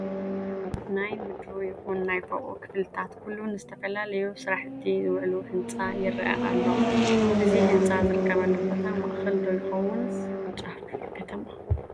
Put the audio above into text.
ናይ ምድሩ ይኹን ናይ ፎቑ ክፍልታት ኩሉ ንዝተፈላለዩ ስራሕቲ ዝወዐሉ ህንፃ ይርአ ኣሎ፡፡ እዚ ህንፃ ዝርከበሉ ቦታ ማእኸል ዶ ይኸውንስ ጫፍ ከተማ?